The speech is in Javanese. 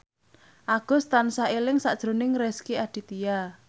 Agus tansah eling sakjroning Rezky Aditya